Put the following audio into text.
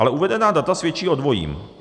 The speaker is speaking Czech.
Ale uvedená data svědčí o dvojím.